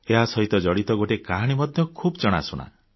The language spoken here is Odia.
ଏହାସହିତ ଜଡ଼ିତ ଗୋଟିଏ କାହାଣୀ ମଧ୍ୟ ଖୁବ୍ ଜଣାଶୁଣା